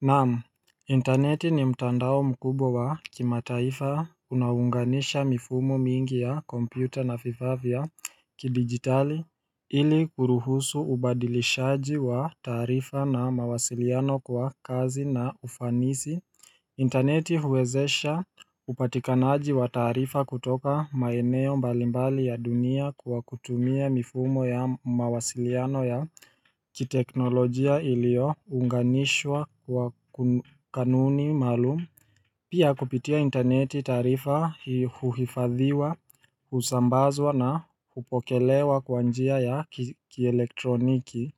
Naamu interneti ni mtandao mkubwa wa kimataifa unaounganisha mifumo mingi ya kompyuta na vifaa vya kidigitali ili kuruhusu ubadilishaji wa taarifa na mawasiliano kwa kazi na ufanisi interneti huwezesha upatikanaji wa taarifa kutoka maeneo mbalimbali ya dunia kwa kutumia mifumo ya mawasiliano ya kiteknolojia iliyo unganishwa kwa kanuni maalum Pia kupitia interneti taarifa huhifadhiwa, husambazwa na hupokelewa kwa njia ya kielektroniki.